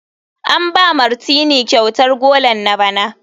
An ba Martineau kyautar golan na bana.